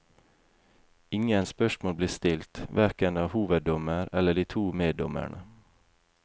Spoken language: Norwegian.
Ingen spørsmål ble stilt, hverken av hoveddommeren eller de to meddommerne.